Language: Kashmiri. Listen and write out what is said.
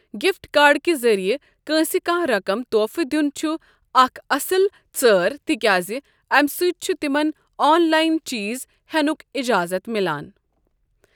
گفٹ کارڈ کہِ ذٔریع کٲنٛسہِ کانٛہہ رقم طوفہٕ دیون چھ اکھ اصٕل ژٲر تہِ کیٛازِ امہِ سۭتۍ چھُ تِمن آن لاین چیٖز ہینُک اِجازت میلان۔